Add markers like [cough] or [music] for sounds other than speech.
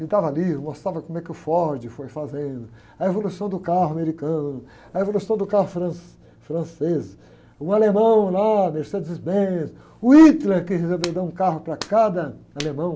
Me dava livro, mostrava como é que o Ford foi fazendo, a evolução do carro americano, a evolução do carro fran, francês, o alemão lá, Mercedes Benz, o Hitler quis [unintelligible] um carro para cada alemão.